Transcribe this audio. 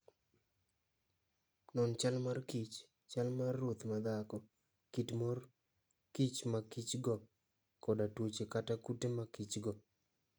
Non chal mar kich, chal mar ruoth madhako, kit mor kich ma kich-go, koda tuoche kata kute ma kich-go.